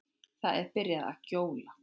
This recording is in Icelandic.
Það er byrjað að gjóla.